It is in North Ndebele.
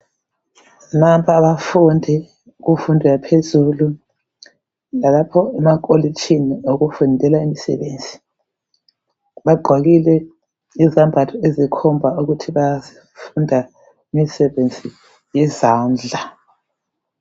Nampa abafundi kumfundo yaphezulu lalapho emakolitshini okufundelwa imisebenzi, bagqokile izembatho ezikhomba ukuthi bafunda imisebenzi yezandla.